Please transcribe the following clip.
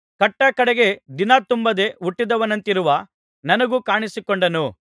ಕಟ್ಟಕಡೆಗೆ ದಿನತುಂಬದೆ ಹುಟ್ಟಿದವನಂತಿರುವ ನನಗೂ ಕಾಣಿಸಿಕೊಂಡನು